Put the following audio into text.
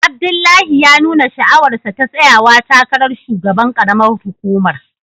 Abdullahi ya nuna sha'awarsa ta tsayawa takarar shugaban karamar hukumar